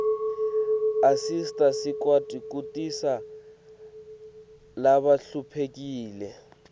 asisita sikwati kusita labahluphekile